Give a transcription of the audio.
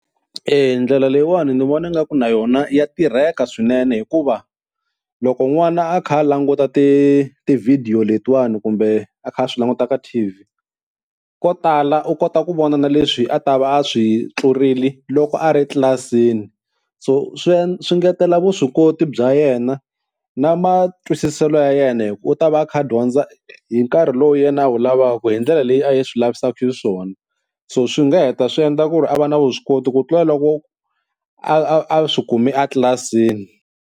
E ndlela leyiwani ni vona ingaku na yona ya tirheka swinene, hikuva loko n'wana a kha a languta ti tivhidiyo letiwani kumbe a kha a swi languta ka T_V ko tala u kota ku vona na leswi a ta va a swi tlurile loko a ri tlilasini. So swi swi engetela vuswikoti bya yena na matwisiselo ya yena hi ku u ta va a kha a dyondza hi nkarhi lowu yena a wu lavaka hi ndlela leyi a yi swi lavisaka xiswona, so swi nga heta swi endla ku ri a va na vuswikoti ku tlula loko a a a swi kumi a tlilasini.